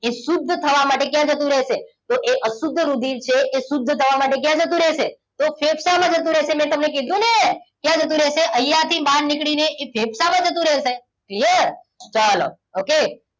એ શુદ્ધ થવા માટે ક્યાં જતું રહેશે તો એ અશુદ્ધ રુધિર છે એ શુદ્ધ થવા માટે કયા જતું રહેશે તો ફેફસામાં જતું રહેશે મેં તમને કીધુ ને ક્યાં જતું રહેશે અહીંયા થી બહાર નીકળીને ફેફસામાં જતું રહેશે clear ચલો okay